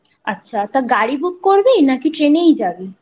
আচ্ছা তা গাড়ি book করবি না ট্রেনেই যাবি?